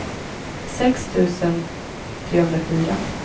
sex tusen trehundrafyra